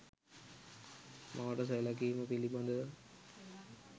මවට සැලකීම පිළිබඳව